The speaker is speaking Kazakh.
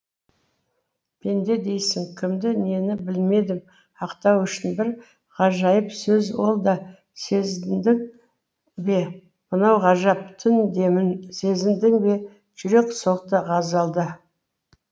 пенде дейсің кімді нені білмедім ақтау үшін бір ғажайып сөз ол да сезіндің бе мынау ғажап түн демін сезіндің бе жүрек соқты ғазалда